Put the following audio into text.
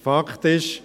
Fakt ist: